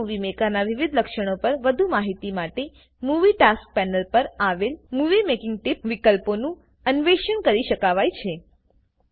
Windows movie મેકરનાં વિવિધ લક્ષણો પર વધુ માહિતી માટે મુવી ટાસ્ક પેનલ પર આવેલ મૂવિંગ મેકિંગ ટીપ વિકલ્પનું અન્વેષણ કરી શકાવાય છે